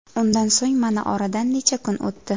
Undan so‘ng mana oradan necha kun o‘tdi.